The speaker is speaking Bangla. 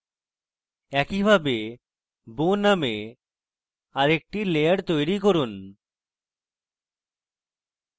একইভাবে bow named আরেকটি layer তৈরী করুন